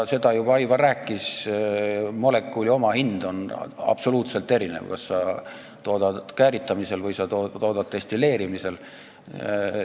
Seda Aivar juba rääkis, et molekuli omahind on absoluutselt erinev, olenevalt sellest, kas sa toodad kääritamise või destilleerimisega.